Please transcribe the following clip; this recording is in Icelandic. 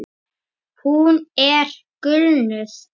Hún er gulnuð.